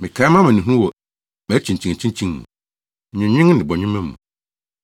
Mekae mʼamanehunu wɔ mʼakyinkyinakyinkyin mu, nweenwen ne bɔnwoma mu.